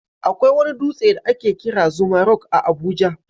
Akwai wani dutse da ake kira Zuma Rock a Abuja.